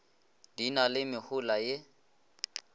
di na le mehola ye